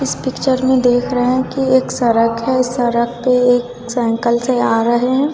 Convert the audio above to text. इस पिक्चर में देख रहे हैं कि एक सड़क हैं सड़क पे एक साइकल से आ रहे हैं।